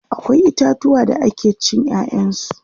akwai itatuwa da ake cin ƴaƴan su